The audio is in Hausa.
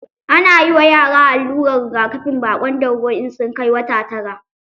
Ana yi ma yara allurar rigakafin baƙon dauro in sun kai wata tara.